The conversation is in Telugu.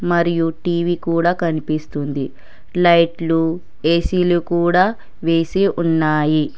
మరియు టీ_వీ కూడా కనిపిస్తుంది లైట్లు ఏ_సీ లు కూడా వేసి ఉన్నాయి.